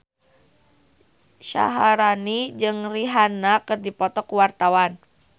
Syaharani jeung Rihanna keur dipoto ku wartawan